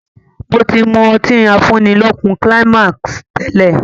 Mo ti mú ọtí afúnilókun Climax tẹ́lẹ̀